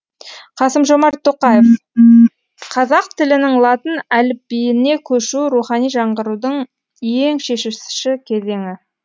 қасым жомарт тоқаев қазақ тілінің латын әліпбиіне көшуі рухани жаңғырудың ең шешуші кезеңі